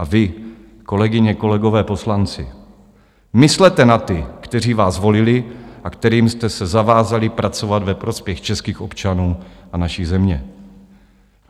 A vy, kolegyně, kolegové poslanci, myslete na ty, kteří vás volili a kterým jste se zavázali pracovat ve prospěch českých občanů a naší země.